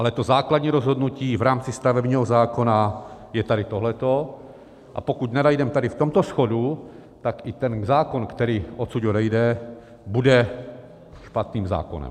Ale to základní rozhodnutí v rámci stavebního zákona je tady tohleto, a pokud nenajdem tady v tomto shodu, tak i ten zákon, který odsud odejde, bude špatným zákonem.